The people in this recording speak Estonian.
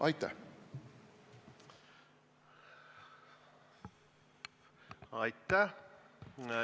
Aitäh!